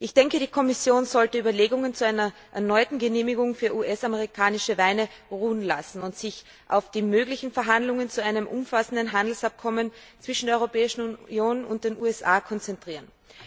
Ich denke, die Kommission sollte Überlegungen zu einer erneuten Genehmigung für US amerikanische Weine ruhen lassen und sich auf die möglichen Verhandlungen zu einem umfassenden Handelsabkommen zwischen der Europäischen Union und den USA konzentrieren.